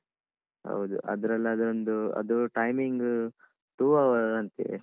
ಹೌದು ಅದ್ರಲ್ಲಾದ್ರೆ ಒಂದು ಅದು timing two hour ಅಂತೇ.